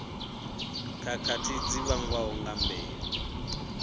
khakhathi dzi vhangwaho nga mbeu